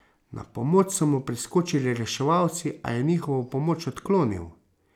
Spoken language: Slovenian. Na pomoč so mu priskočili reševalci, a je njihovo pomoč odklonil.